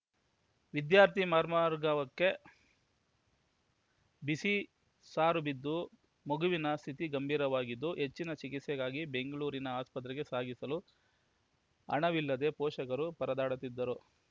ವಿದ್ಯಾರ್ಥಿ ಮರ್ಮಾ ವರ್ಗವಕ್ಕೆ ಬಿಸಿ ಸಾರು ಬಿದ್ದು ಮಗುವಿನ ಸ್ಥಿತಿ ಗಂಭೀರವಾಗಿದ್ದು ಹೆಚ್ಚಿನ ಚಿಕಿತ್ಸೆಗಾಗಿ ಬೆಂಗಳೂರಿನ ಆಸ್ಪತ್ರೆಗೆ ಸಾಗಿಸಲು ಹಣವಿಲ್ಲದೆ ಪೋಷಕರು ಪರದಾಡುತ್ತಿದ್ದರು